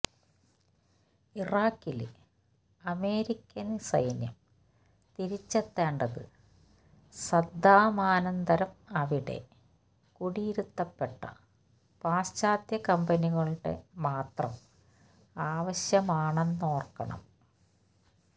ഇറാഖില് American സൈന്യം തിരിച്ചെത്തേണ്ടത് സദ്ദാമാനന്തരം അവിടെ കുടിയിരുത്തപ്പെട്ട പാശ്ചാത്യ കമ്പനികളുടെ മാത്രം ആവശ്യമാണെന്നോര്ക്കണം